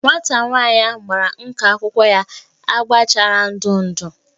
Nwata nwanyị ahu gbara nka akwụkwọ ya agba chara ndụ ndụ